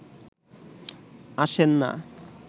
আসেন না